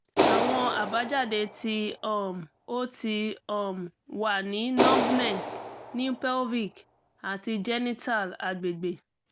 awọn abajade ti um o ti um wa ni numbness ni pelvic ati genital agbegbe